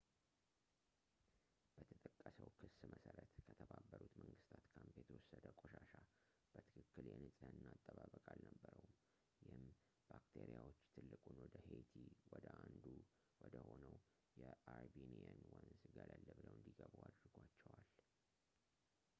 በተጠቀሰው ክስ መሠረት ከተባበሩት መንግሥታት ካምፕ የተወሰደ ቆሻሻ በትክክል የንጽሕና አጠባበቅ አልነበረውም ይህም ባክቴሪያዎች ትልቁን ወደ ሄይቲ ወደ አንዱ ወ ደሆነው የአርቢኒየን ወንዝ ገለል ብለው እንዲገቡ አድርጓቸዋል